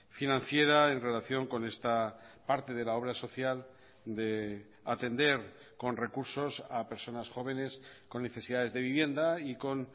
financiera en relación con esta parte de la obra social de atender con recursos a personas jóvenes con necesidades de vivienda y con